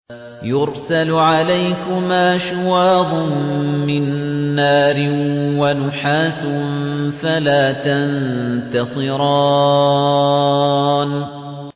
يُرْسَلُ عَلَيْكُمَا شُوَاظٌ مِّن نَّارٍ وَنُحَاسٌ فَلَا تَنتَصِرَانِ